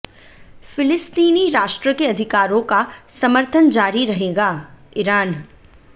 फ़िलिस्तीनी राष्ट्र के अधिकारों का समर्थन जारी रहेगाः ईरान